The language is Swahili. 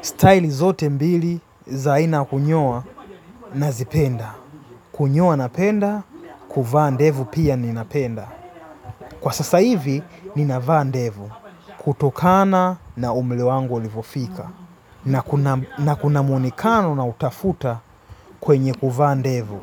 Style zote mbili za aina ya kunyoa nazipenda. Kunyoa napenda, kuvaa ndevu pia ninapenda. Kwa sasa hivi, ninavaa ndevu. Kutokana na umri wangu ulivyofika. Na kuna mwonekano nautafuta kwenye kuvaa ndevu.